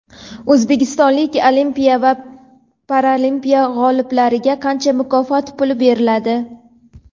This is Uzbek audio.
O‘zbekistonlik Olimpiya va Paralimpiya g‘oliblariga qancha mukofot puli beriladi?.